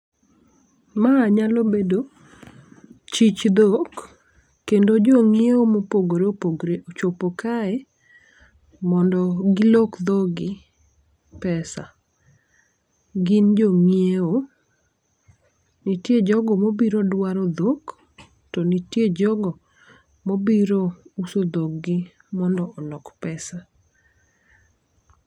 Ma nyalo bedo chich dhok kendo jong'iewo mopogore opogre ochopo kae mondo gilok dhogi pesa. Gin jong'iewo , nitie jogo mobiro dwaro dhok, to nitie jogo mobiro uso dhogi mondo olok pesa